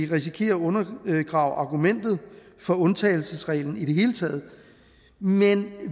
det risikerer at undergrave argumentet for undtagelsesreglen i det hele taget men